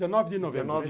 É, dezenove de novembro.